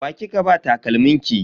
Wa kika ba takalmin ki?